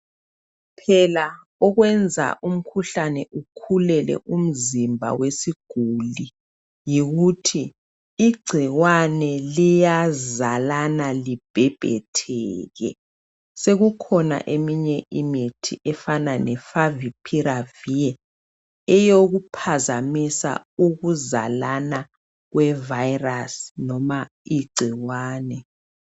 Phela okwenza umkhuhlane ukhulele umzimba wesiguli yikuthi igcikwane liyazalana libhebhetheke. Sekukhona eminye imithi efanana le favipiravir eyokuphazamisa ukuzalana kwe virus noma igcikwane.